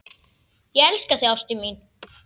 Ég elska þig ástin mín.